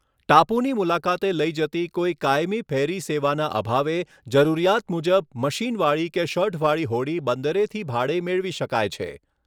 ટાપુની મુલાકાતે લઈ જતી કોઈ કાયમી ફેરી સેવાના અભાવે જરૂરીયાત મુજબ મશીનવાળી કે શઢવાળી હોડી બંદરેથી ભાડે મેળવી શકાય છે.